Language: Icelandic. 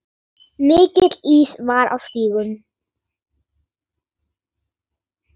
Mikill ís var á stígum.